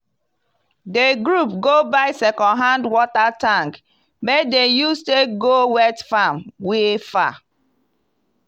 di group go buy second hand water tank make dem use take go wet farm we far.